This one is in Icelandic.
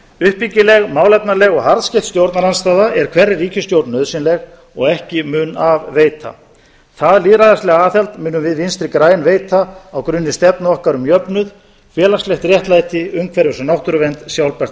uppbyggileg málefnaleg og harðskeytt stjórnarandstaða er hverri ríkisstjórn nauðsynleg og ekki mun af veita það lýðræðislega aðhald munum við vinstri græn veita á grunni stefnu okkar um jöfnuð félagslegt réttlæti umhverfis og náttúruvernd sjálfbært